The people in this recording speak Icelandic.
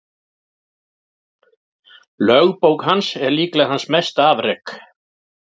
Lögbók hans er líklega hans mesta afrek.